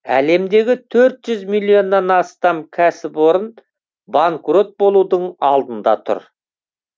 әлемдегі төрт жүз миллионнан астам кәсіпорын банкрот болудың алдында тұр